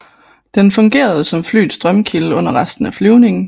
Den fungerede som flyets strømkilde under resten af flyvningen